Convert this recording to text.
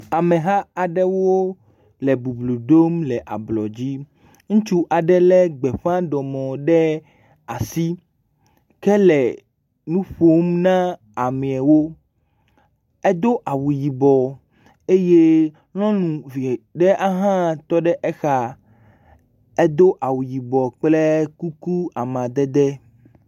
Ameha aɖewo le bublu dom le ablɔdzi, ŋutsu aɖe le gbeƒãmɔ ɖe asi kele nuƒom ne ameawo. Edo awu yibɔ eye nyɔnuvie ɖe ahã tɔ ɖe exa, edo awu yibɔ kple kuku amadede.